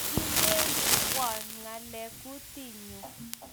Kidenoywo ngaleek kutinyu